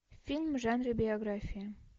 фильм в жанре биография